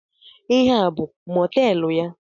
Ihe a abụ mọteelụ ya?